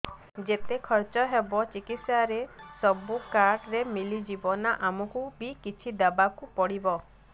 ଯେତେ ଖର୍ଚ ହେବ ଚିକିତ୍ସା ରେ ସବୁ କାର୍ଡ ରେ ମିଳିଯିବ ନା ଆମକୁ ବି କିଛି ଦବାକୁ ପଡିବ